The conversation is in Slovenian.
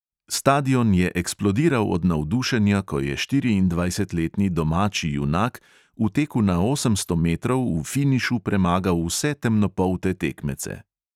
Stadion je eksplodiral od navdušenja, ko je štiriindvajsetletni domači junak v teku na osemsto metrov v finišu premagal vse temnopolte tekmece.